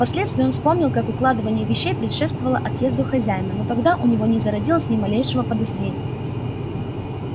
впоследствии он вспомнил как укладывание вещей предшествовало отъезду хозяина но тогда у него не зародилось ни малейшего подозрения